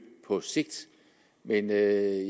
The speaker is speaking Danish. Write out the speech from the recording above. på sigt men jeg